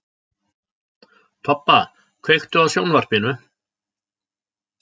Tobba, kveiktu á sjónvarpinu.